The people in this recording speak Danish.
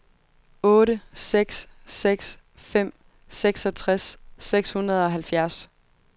otte seks seks fem seksogtres seks hundrede og halvfjerds